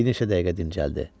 Bir neçə dəqiqə dincəldi.